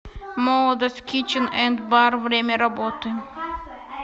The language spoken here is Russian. молодость китчен энд бар время работы